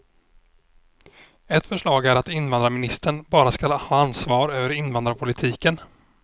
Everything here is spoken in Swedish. Ett förslag är att invandrarministern bara skall ha ansvar över invandrarpolitiken.